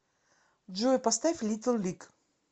джой поставь литл лиг